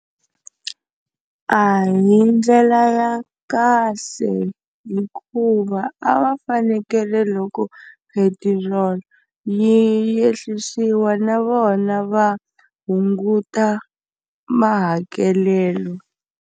A hi ndlela ya kahle hikuva a va fanekele loko petiroli yi ehlisiwa na vona va hunguta mahakelelo.